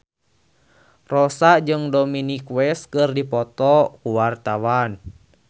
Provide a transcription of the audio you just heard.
Rossa jeung Dominic West keur dipoto ku wartawan